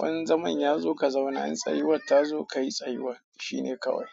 Wani zaman ya zo ka zauna, in tsayuwar ta zo ka yi tsayuwar. Shine kawai.